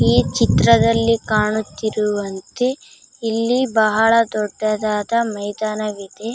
ಈ ಚಿತ್ರದಲ್ಲಿ ಕಾಣುತ್ತಿರುವಂತೆ ಇಲ್ಲಿ ಬಹಳ ದೊಡ್ಡದಾದ ಮೈದಾನವಿದೇ .